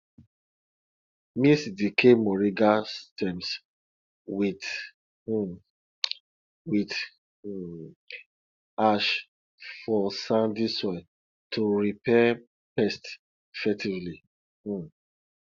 mix decayed moringa stems with um with um ash for sandy soil to repel pests effectively um